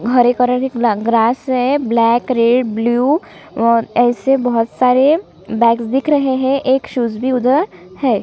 हरे colour की एक लग ग्रास है ब्लैक रेड ब्लू और ऐसे बहोत सारे बैग्स दिख रहै हैं एक शूज भी उधर है।